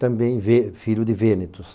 Também Vê, filho de Vênitus.